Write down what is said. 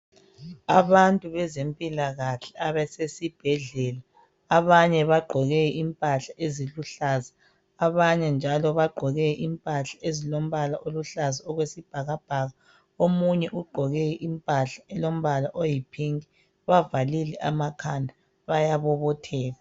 Abantu bezempilakahle abasesibhedlela, abanye bagqoke impahla eziluhlaza. Abanye njalo bagqoke impahla ezilombala oluhlaza okwesibhakabhaka. Omunye ugqoke impahla elo mbala oyi pink. Bavalile amakhala bayabobotheka.